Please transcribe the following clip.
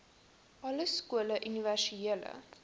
alle skole universele